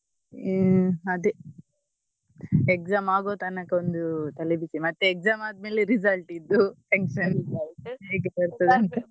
ಹ್ಮ್ ಅದೇ exam ಆಗುವ ತನಕ ಒಂದು ತಲೆಬಿಸಿ ಮತ್ತೆ exam ಆದ್ಮೇಲೆ result ದ್ದು tension ಹೇಗೆ ಬರ್ತದೆ ಅಂತ.